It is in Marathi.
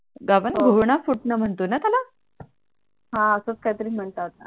हा असच काही तरी म्हणतात